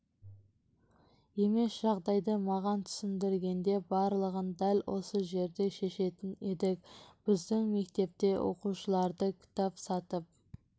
емес жағдайды маған түсіндіргенде барлығын дәл осы жерде шешетін едік біздің мектепте оқушыларды кітап сатып